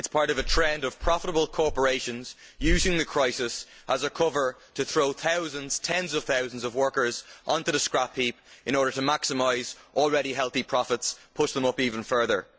it is part of a trend of profitable corporations using the crisis as a cover to throw thousands, or tens of thousands, of workers onto the scrapheap in order to maximise already healthy profits and push them up even further.